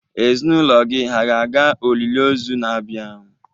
Ezinụlọ gị hà ga-aga olili ozu na-abịa?